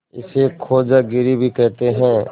इसे खोजागिरी भी कहते हैं